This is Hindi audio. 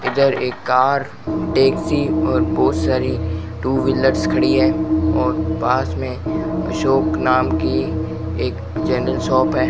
इधर एक कार टैक्सी और बहुत सारी टू व्हीलर्स खड़ी है और पास में अशोक नाम की एक जनरल शॉप है।